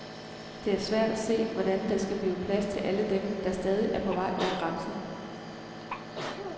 Det er svært at se, hvordan der skal blive plads til alle dem, der stadig er på vej over grænsen.